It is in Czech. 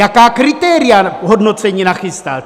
Jaká kritéria hodnocení nachystal?